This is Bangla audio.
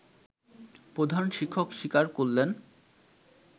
প্রধান শিক্ষক স্বীকার করলেন